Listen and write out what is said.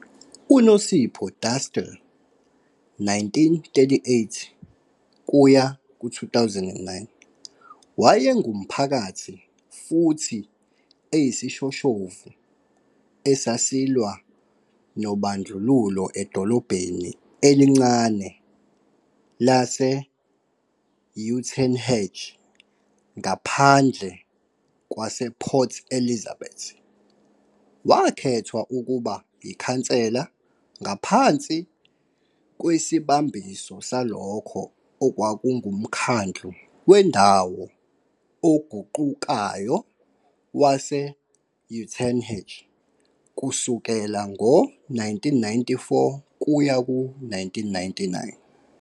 UNosipho Dastile, 1938-2009, wayengumphakathi futhi eyisishoshovu esasilwa nobandlululo edolobheni elincane lase- Uitenhage, ngaphandle kwasePort Elizabeth. Wakhethwa ukuba yikhansela ngaphansi kwesibambiso salokho okwakunguMkhandlu Wendawo Oguqukayo Wase-Uitenhage kusukela ngo-1994 kuya ku-1999.